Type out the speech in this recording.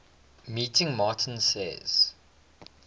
meeting martin says